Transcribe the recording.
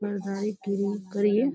पहरदारी किरी करिये --